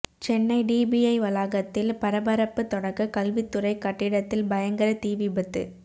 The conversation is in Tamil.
சென்னை டிபிஐ வளாகத்தில் பரபரப்பு தொடக்க கல்வித்துறை கட்டிடத்தில் பயங்கர தீ விபத்து